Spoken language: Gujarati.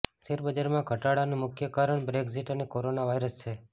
શેરબજારમાં ઘટાડાનું મુખ્ય કારણ બ્રેક્ઝિટ અને કોરોના વાયરસ છે